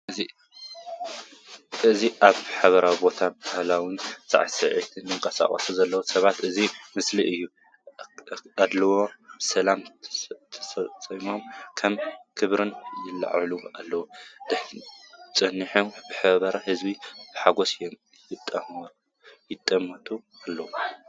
እዚ ኣብ ሕብራዊ ቦታ ባህላዊ ሳዕስዒት ይንቀሳቐስ ዘለው ሰባት ዘርኢ ምስሊ እዩ።፣ ኣእዳው ብሰላም ተሰሪዖም ከም ከበሮ ይለዓሉ ኣለው። ጸኒሑ፡ ሕብራዊ ህዝቢ ብሓጐስ ይጥምት ኣለው።